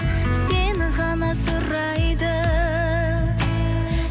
сені ғана сұрайды